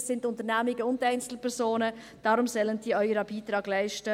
– Das sind Unternehmungen und Einzelpersonen, deshalb sollen sie auch ihren Beitrag leisten.